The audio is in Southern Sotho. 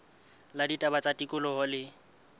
la ditaba tsa tikoloho le